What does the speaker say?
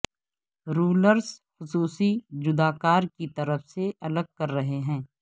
rulers خصوصی جداکار کی طرف سے الگ کر رہے ہیں